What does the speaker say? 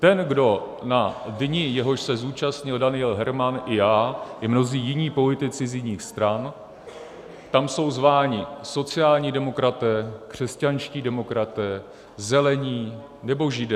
Ten, kdo na dni, jehož se zúčastnil Daniel Herman i já i mnozí jiní politici z jiných stran, tam jsou zváni sociální demokraté, křesťanští demokraté, Zelení nebo Židé.